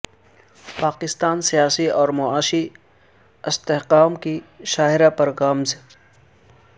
پاکستان سیاسی اور معاشی استحکام کی شاہراہ پر گامزن